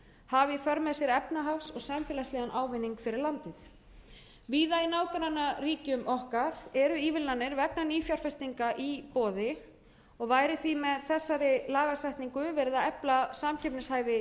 í för með sér efnahags og samfélagslegan ávinning fyrir landið víða í nágrannaríkjum okkar eru ívilnanir vegna nýfjárfestinga í boði og væri því með þessari lagasetningu verið að efla samkeppnishæfi